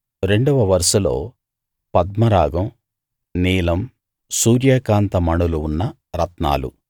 రెండవ వరుసలో పద్మరాగం నీలం సూర్యకాంత మణులు ఉన్న రత్నాలు